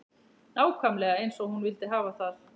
Nákvæmlega eins og hún vildi hafa það.